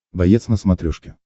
боец на смотрешке